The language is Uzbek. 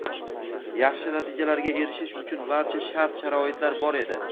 yaxshi natijalarga erishish uchun barcha shart-sharoitlar bor edi.